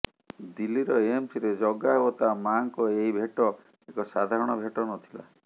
ଦିଲ୍ଲୀର ଏମସରେ ଜଗା ଓ ତା ମାଆଙ୍କ ଏହି ଭେଟ ଏକ ସାଧାରଣ ଭେଟ ନଥିଲା